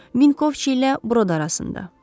Minkovçilə Burada arasında.